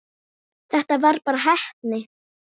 Þetta var bara heppni.